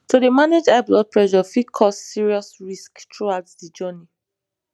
to dey manage high blood pressure fit cause serious risks throughout de journey